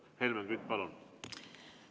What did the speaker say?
Helmen Kütt, palun!